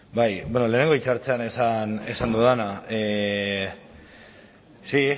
bai bueno lehenengo hitza hartzean esan dudana sí